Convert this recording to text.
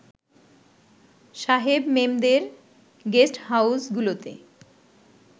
সাহেব-মেমদের গেস্টহাউসগুলোতে